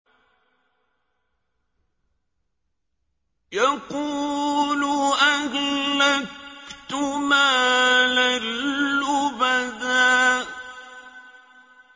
يَقُولُ أَهْلَكْتُ مَالًا لُّبَدًا